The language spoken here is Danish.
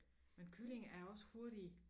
Men kylling er også hurtig